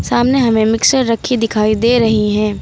सामने हमें मिक्सर रखी दिखाई दे रही है।